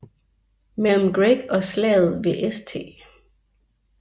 Mellem Gregg og slaget ved St